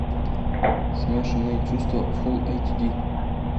смешанные чувства фулл эйч ди